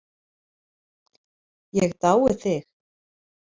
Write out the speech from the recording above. Ég dái þig.